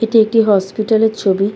এটি একটি হাসপাতাল এর ছবি।